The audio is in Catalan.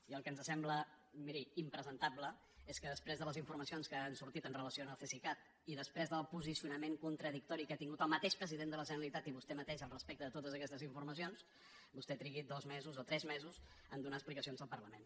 i el que ens sembla miri impresentable és que després de les informacions que han sortit en relació amb el cesicat i després del posicionament contradictori que ha tingut el mateix president de la generalitat i vostè mateix al respecte de totes aquestes informacions vostè trigui dos mesos o tres mesos a donar explicacions al parlament